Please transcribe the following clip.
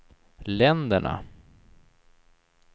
länderna